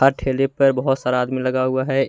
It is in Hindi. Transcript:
और ठेले पर बहुत सारा आदमी लगा हुआ है।